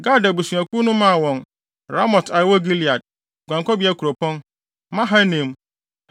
Gad abusuakuw no maa wɔn Ramot a ɛwɔ Gilead (guankɔbea kuropɔn), Mahanaim,